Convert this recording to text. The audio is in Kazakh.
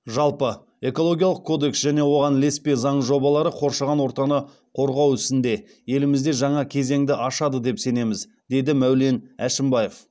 жалпы экологиялық кодекс және оған ілеспе заң жобалары қоршаған ортаны қорғау ісінде елімізде жаңа кезеңді ашады деп сенеміз деді мәулен әшімбаев